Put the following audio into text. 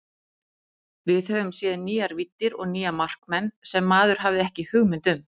Við höfum séð nýjar víddir og nýja markmenn sem maður hafði ekki hugmynd um.